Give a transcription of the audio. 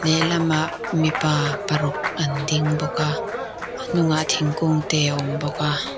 lehlamah mipa paruk an ding bawka an hnungah thingkung te a awm bawk a.